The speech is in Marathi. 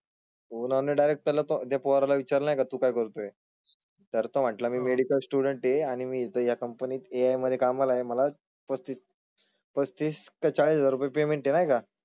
कोण आणि डायरेक्ट आला तो त्या पोरा ला विचारलं की तू काय करतोय? तर तुम्हांला मी मेडिकल स्टूडेंट आहे आणि मी त्या कंपनीत मध्ये कामाला आहे मला पस्तीस चाळीस हजार पेमेंट आहे नाही का?